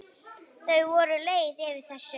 Þau voru leið yfir þessu.